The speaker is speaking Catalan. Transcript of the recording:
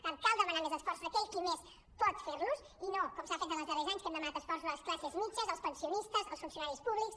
per tant cal demanar més esforços a aquell qui més pot fer·los i no com s’ha fet els darrers anys que hem demanat esforços a les classes mitjanes als pensionistes als funcionaris públics